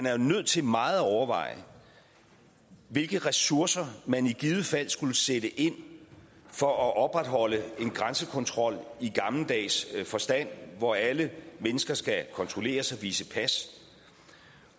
er nødt til meget at overveje hvilke ressourcer man i givet fald skulle sætte ind for at opretholde en grænsekontrol i gammeldags forstand hvor alle mennesker skal kontrolleres og vise pas